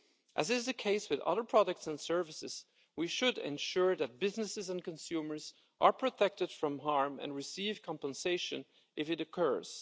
As is the case with other products and services, we should ensure that businesses and consumers are protected from harm and receive compensation if it occurs.